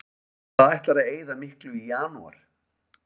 Hvað ætlarðu að eyða miklu í janúar?